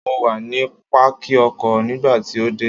Mo wà ní Pákì ọkọ̀ nígbà tí o dé.